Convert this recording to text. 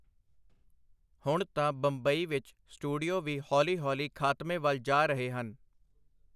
ਹੁਣ ਤਾਂ ਬੰਬਈ ਵਿਚ ਸਟੂਡੀਓ ਵੀ ਹੌਲੀ-ਹੌਲੀ ਖਾਤਮੇ ਵਲ ਜਾ ਰਹੇ ਹਨ.